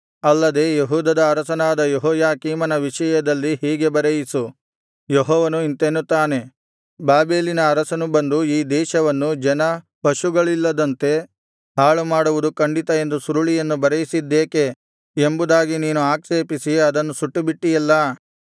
ಅಲ್ಲದೆ ಯೆಹೂದದ ಅರಸನಾದ ಯೆಹೋಯಾಕೀಮನ ವಿಷಯದಲ್ಲಿ ಹೀಗೆ ಬರೆಯಿಸು ಯೆಹೋವನು ಇಂತೆನ್ನುತ್ತಾನೆ ಬಾಬೆಲಿನ ಅರಸನು ಬಂದು ಈ ದೇಶವನ್ನು ಜನ ಪಶುಗಳಿಲ್ಲದಂತೆ ಹಾಳುಮಾಡುವುದು ಖಂಡಿತ ಎಂದು ಸುರುಳಿಯನ್ನು ಬರೆಯಿಸಿದ್ದೇಕೆ ಎಂಬುದಾಗಿ ನೀನು ಆಕ್ಷೇಪಿಸಿ ಅದನ್ನು ಸುಟ್ಟುಬಿಟ್ಟಿಯಲ್ಲ